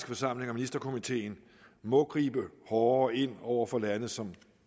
forsamling og ministerkomiteen må gribe hårdere ind over for lande som